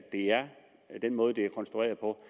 den måde det er konstrueret på